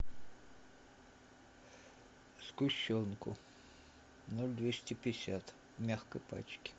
сгущенку ноль двести пятьдесят в мягкой пачке